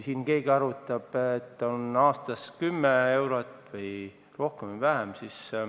Siin on keegi arvutanud, kas ta võidab aastas kümme eurot või rohkem või vähem.